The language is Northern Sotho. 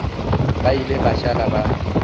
ba ile ba šala ba